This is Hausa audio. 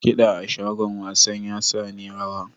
Kida a shagon wasan ya sa na yi rawa.